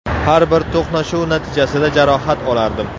Har bir to‘qnashuv natijasida jarohat olardim.